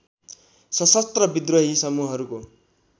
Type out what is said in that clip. सशस्त्र विद्रोही समूहहरूको